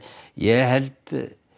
ég held